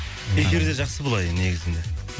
эфирде жақсы былай негізінде